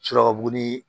Suraka bo ni